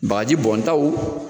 Bagaji bɔntaw